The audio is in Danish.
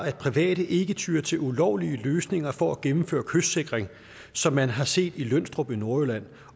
at private ikke tyer til ulovlige løsninger for at gennemføre kystsikring som man har set i lønstrup i nordjylland